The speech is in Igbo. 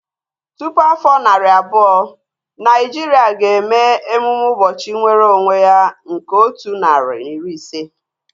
Tupu afọ narị abụọ, Naijiria ga-eme emume ụbọchị nwere onwe ya nke otu narị na iri ise